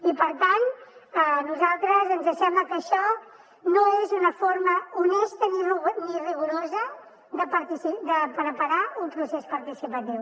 i per tant a nosaltres ens sembla que això no és una forma honesta ni rigorosa de preparar un procés participatiu